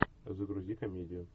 загрузи комедию